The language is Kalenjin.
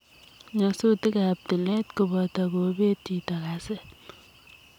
Nyasutik ap tileet kopotoo kopeet chitoo kaseet ,